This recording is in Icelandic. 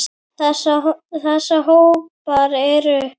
Þessa hópar eru